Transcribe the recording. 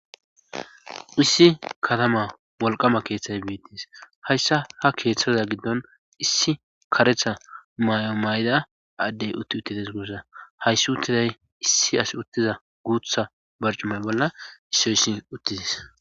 Issi katama wolqama keeththay biittis hayssa ha keeththaza giddon issi karetha mayo mayda addey utti uttides gussa hayssi uttiday issi as uttiza guutha barcumay bolla issoysi uttidis.